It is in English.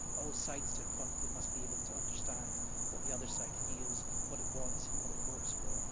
All sides to a conflict must be able to understand what the other side feels, what it wants and what it hopes for.